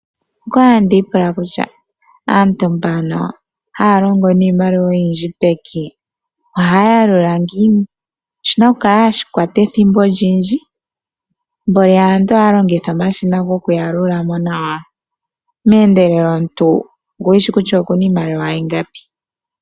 Onda li tandi ipula kutya aantu mbano haya longo niimaliwa oyindji peke ohaya yalula ngiini? Oshi na okukala hashi kwata ethimbo olindji, ihe nani aantu ohaya longitha omashina gokuyalula. Meendelelo omuntu okushi shi kutya oku na iimaliwa ingapi.